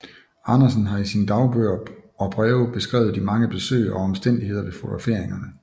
Andersen har i sine dagbøger og breve beskrevet de mange besøg og omstændigheder ved fotograferingerne